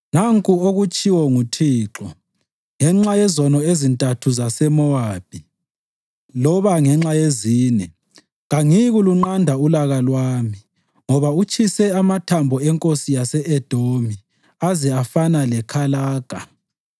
Nanku okutshiwo nguThixo: “Ngenxa yezono ezintathu zaseMowabi loba ngenxa yezine, kangiyikulunqanda ulaka lwami, ngoba utshise amathambo enkosi yase-Edomi aze afana lekalaga,